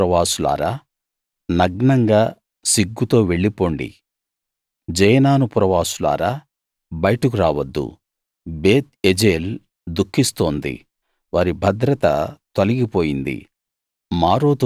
షాఫీరు పురవాసులారా నగ్నంగా సిగ్గుతో వెళ్ళిపోండి జయనాను పురవాసులారా బయటకు రావద్దు బేత్ ఎజేల్ దుఖిస్తోంది వారి భద్రత తొలిగి పోయింది